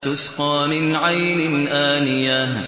تُسْقَىٰ مِنْ عَيْنٍ آنِيَةٍ